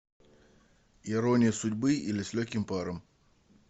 ирония судьбы или с легким паром